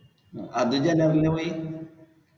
അത് general ൽ പോയി?